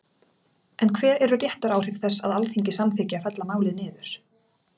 En hver eru réttaráhrif þess að Alþingi samþykki að fella málið niður?